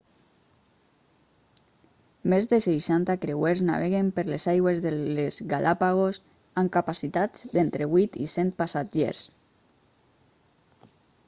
més de 60 creuers naveguen per les aigües de les galàpagos amb capacitats d'entre 8 i 100 passatgers